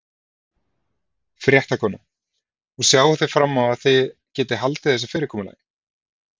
Fréttakona: Og sjáið þið fram á þið getið haldið þessu fyrirkomulagi?